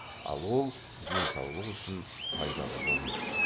ал ол денсаулық үшін пайдалы болмайды